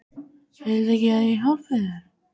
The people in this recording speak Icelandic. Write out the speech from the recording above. Viltu ekki að ég hjálpi þér?